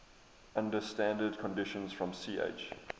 under standard conditions from ch